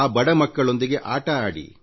ಆ ಬಡ ಮಕ್ಕಳೊಂದಿಗೆ ಆಟ ಆಡಿ